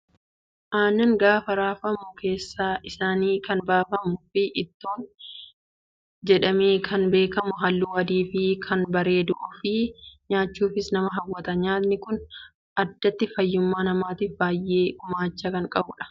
Aannan gaafa raafamu keessa isaatii kan baafamuu fi ittoo jedhamee kan beekamu halluu adii fi kan bareeduu fi nyaachuufis nama hawwata. Nyaatni Kun addatti fayyummaa namaatiif baay'ee gumaacha kan qabudha.